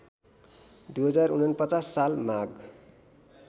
२०४९ साल माघ